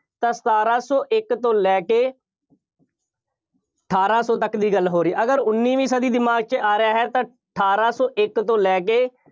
ਤਾਂ ਸਤਾਰਾਂ ਸੌ ਇੱਕ ਤੋਂ ਲੈ ਕੇ ਅਠਾਰਾਂ ਸੌ ਤੱਕ ਦੀ ਗੱਲ ਹੋ ਰਹੀ ਹੈ। ਅਗਰ ਉੱਨੀਵੀਂ ਸਦੀ ਦਿਮਾਗ 'ਚ ਆ ਰਿਹਾ ਹੈ, ਤਾਂ ਅਠਾਰਾਂ ਸੌ ਇੱਕ ਤੋਂ ਲੈ ਕੇ